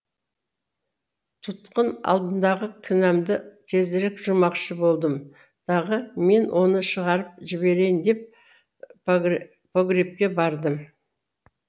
тұтқын алдындағы кінәмды тезірек жумақшы болдым дағы мен оны шығарып жіберейін деп погребке бардым